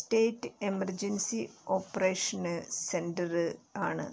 state emergency operation centre ആണ്